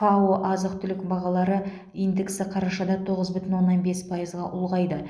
фао азық түлік бағалары индексі қарашада тоғыз бүтін оннан бес пайызға ұлғайды